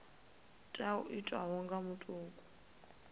tea u itwa nga muthu